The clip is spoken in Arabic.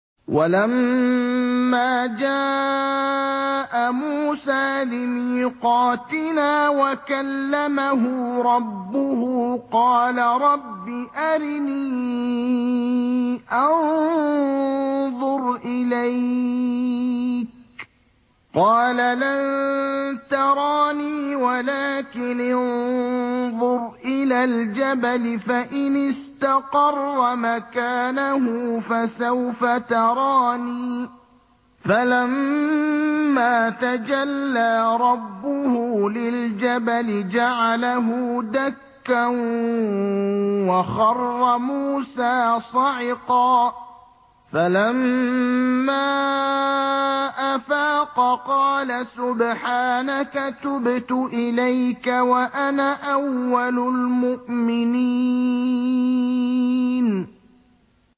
وَلَمَّا جَاءَ مُوسَىٰ لِمِيقَاتِنَا وَكَلَّمَهُ رَبُّهُ قَالَ رَبِّ أَرِنِي أَنظُرْ إِلَيْكَ ۚ قَالَ لَن تَرَانِي وَلَٰكِنِ انظُرْ إِلَى الْجَبَلِ فَإِنِ اسْتَقَرَّ مَكَانَهُ فَسَوْفَ تَرَانِي ۚ فَلَمَّا تَجَلَّىٰ رَبُّهُ لِلْجَبَلِ جَعَلَهُ دَكًّا وَخَرَّ مُوسَىٰ صَعِقًا ۚ فَلَمَّا أَفَاقَ قَالَ سُبْحَانَكَ تُبْتُ إِلَيْكَ وَأَنَا أَوَّلُ الْمُؤْمِنِينَ